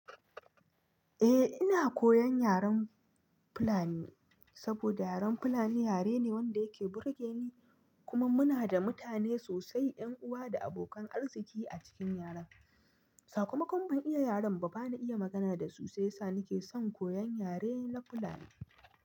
Eh ina koyan yaren Fulani saboda yaren Fulani yare ne wanda yake burge ni kuma muna da mutane sosai 'yan uwa da abokan arziki a cikin yaren. Sakamakon ban iya yaren ba bana iya magana da su sai sa nake son koyan yare na Fulani.